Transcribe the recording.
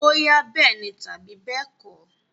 Bóyá bẹ́ẹ̀ni tàbí bẹ́ẹ̀kọ́.